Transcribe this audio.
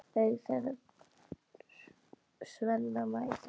Augu þeirra Svenna mætast.